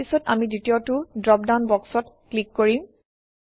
তাৰপিছত আমি দ্বিতীয়টো ড্ৰপডাউন বক্সত ক্লিক কৰিম